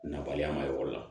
Nabaliya ma yɔrɔ la